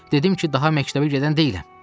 dedim ki, daha məktəbə gedən deyiləm.